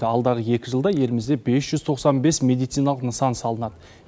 алдағы екі жылда елімізде бес жүз тоқсан бес медициналық нысан салынады